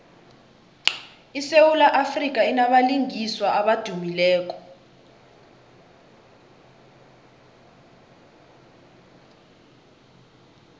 isewula afrika inabalingiswa abadumileko